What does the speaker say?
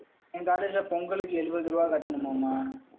என் college ல பொங்கலுக்கு எழுபது ரூபாய் கட்டணுமாம்